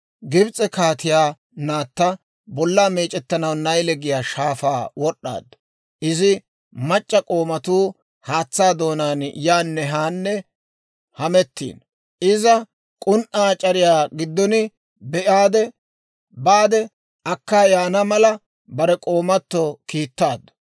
Gibs'e kaatiyaa naatta bollaa meec'ettanaw Nayle giyaa shaafaa wod'd'aaddu; izi mac'c'a k'oomatuu haatsaa doonaan yaanne haanne hamettiino; iza k'un"aa c'ariyaa giddon be'aade, baade akkaa yaana mala bare k'oomatto kiittaaddu;